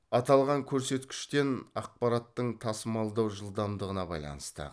аталған көрсеткіштен ақпараттын тасымалдау жылдамдығына байланысты